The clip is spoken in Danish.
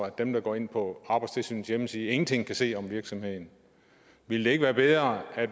at dem der går ind på arbejdstilsynets hjemmeside ingen ting kan se om virksomheden ville det ikke være bedre at